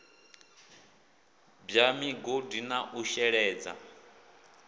bwa migodi na u sheledza